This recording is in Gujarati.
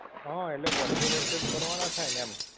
હા એટલે વર્ષે વર્ષે જ ભરવાના થાય ને એમ.